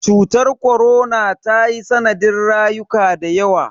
Cutar korona tayi sanadin rayuka dayawa.